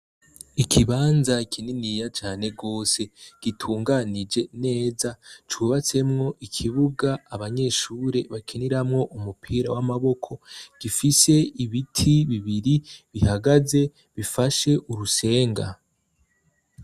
Ikibanza kininiya cane gose gitunganije neza cubatsemwo ikibuga abanyeshure bakeniramwo umupira w'amaboko, gifise ibiti bibiri bihagaze bifashe urusenga.